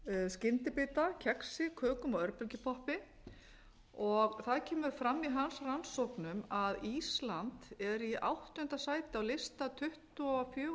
skyndibita kexi kökum og örbylgjupoppi það kemur fram í hans rannsóknum að ísland er í áttunda sæti á lista tuttugu og fjögurra